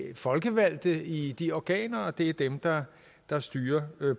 folkevalgte i de organer og at det er dem der der styrer